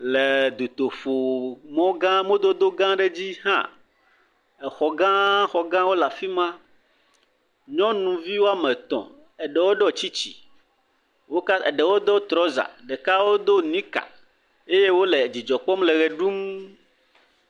Le dutoƒo mɔgã mɔdodo gã aɖe dzi hã, xɔgãxɔgãwo le afi ma, nyɔnuvi woame etɔ̃ eɖewo ɖo tsitsi eɖewo do trɔza, eɖewo do nika eye wole dzidzɔ kpɔm le ʋe ɖum.